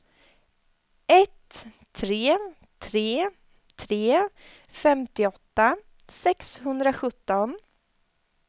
ett tre tre tre femtioåtta sexhundrasjutton